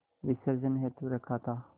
विसर्जन हेतु रखा था